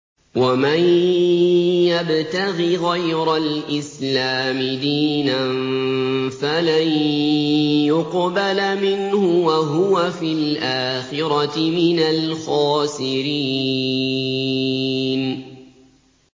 وَمَن يَبْتَغِ غَيْرَ الْإِسْلَامِ دِينًا فَلَن يُقْبَلَ مِنْهُ وَهُوَ فِي الْآخِرَةِ مِنَ الْخَاسِرِينَ